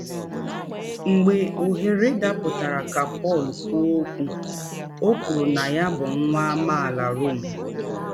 Mgbe ọhere dapụtara ka Pọl kwụọ ọkwụ, ọ kwụrụ na ya bụ nwa amaala Rom.